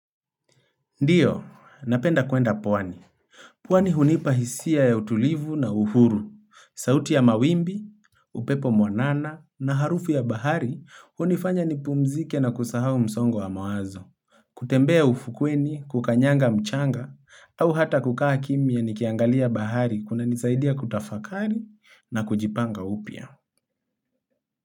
Ndiyo, napenda kuenda pwani. Pwani hunipahisia ya utulivu na uhuru, sauti ya mawimbi, upepo mwanana na harufu ya bahari hunifanya nipumzike na kusahau msongo wa mawazo. Kutembea ufukweni, kukanyanga mchanga, au hata kukaa kimya nikiangalia bahari kuna nisaidia kutafakari na kujipanga upya.